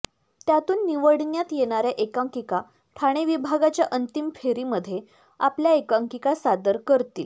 त्यातून निवडण्यात येणाऱ्या एकांकिका ठाणे विभागाच्या अंतिम फेरीमध्ये आपल्या एकांकिका सादर करतील